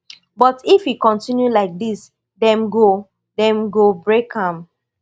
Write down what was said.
but if e continue like dis dem go dem go break am